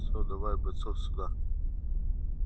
всё давай бойцов сюда